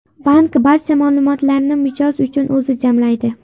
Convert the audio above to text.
Bank barcha ma’lumotlarni mijoz uchun o‘zi jamlaydi.